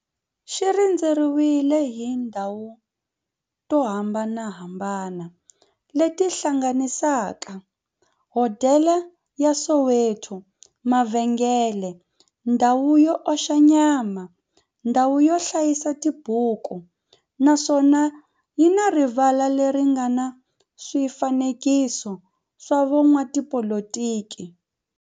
Xi rhendzeriwile hi tindhawu to hambanahambana le ti hlanganisaka, hodela ya Soweto, mavhengele, ndhawu yo oxa nyama, ndhawu yo hlayisa tibuku, naswona yi na rivala le ri nga na swifanekiso swa vo n'watipolitiki.